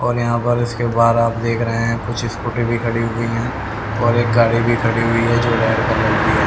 और यहां पर उसके बाद आप देख रहे हैं कुछ स्कूटी भी खड़ी हुई है और एक गाड़ी भी खड़ी हुई है जो रेड कलर की है।